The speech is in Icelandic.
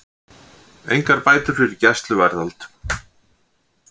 Engar bætur fyrir gæsluvarðhald